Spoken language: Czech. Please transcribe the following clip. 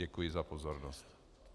Děkuji za pozornost.